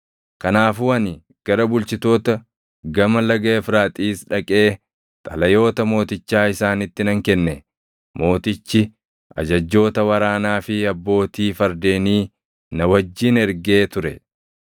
Kanaafuu ani gara bulchitoota Gama Laga Efraaxiis dhaqee xalayoota mootichaa isaanitti nan kenne. Mootichi ajajjoota waraanaa fi abbootii fardeenii na wajjin ergee ture.